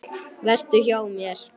Vertu hjá mér.